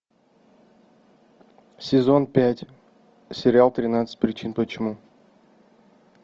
сезон пять сериал тринадцать причин почему